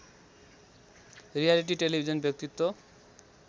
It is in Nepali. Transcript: रियालिटी टेलिभिजन व्यक्तित्व